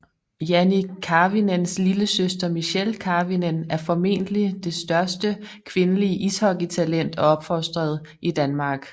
Jannik Karvinens lillesøster Michelle Karvinen er formentlig det største kvindelige ishockeytalent opfostret i Danmark